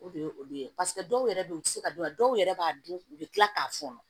O de ye olu ye paseke dɔw yɛrɛ bɛ yen u tɛ se ka dɔn a dɔw yɛrɛ b'a dun u bɛ tila k'a fɔɔnɔ